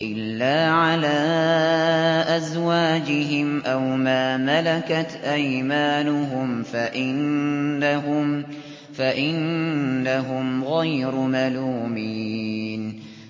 إِلَّا عَلَىٰ أَزْوَاجِهِمْ أَوْ مَا مَلَكَتْ أَيْمَانُهُمْ فَإِنَّهُمْ غَيْرُ مَلُومِينَ